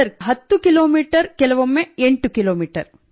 sir 10 ಕಿ ಮೀ ಕೆಲವೊಮ್ಮೆ 8 ಕಿ ಮೀ